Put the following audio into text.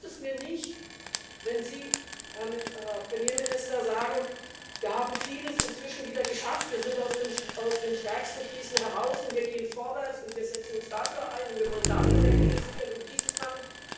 Und da reicht es mir nicht, wenn Sie, Herr Premierminister, sagen Wir haben vieles inzwischen wieder geschafft, wir sind aus den stärksten Krisen heraus, und wir gehen vorwärts, und wir setzen uns dafür ein, und wir wollen dafür mehr investieren und dieses machen.